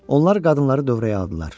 Onlar qadınları dövrəyə aldılar.